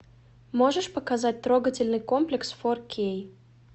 можешь показать трогательный комплекс фор кей